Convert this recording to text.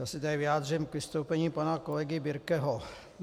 Já se tady vyjádřím k vystoupení pana kolegy Birkeho.